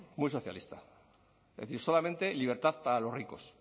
muy socialista es decir solamente libertad para los ricos